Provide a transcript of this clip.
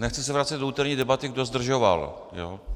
Nechci se vracet do úterní debaty, kdo zdržoval.